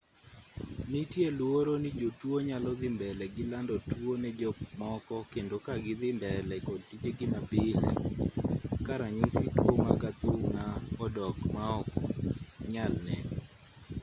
nitie luoro ni jotuo nyalo dhi mbele gi lando tuo ne jok moko kendo ka gi dhii mbele kod tijegi mapile ka ranyisi tuo mar athung'a odok ma ok nyal ne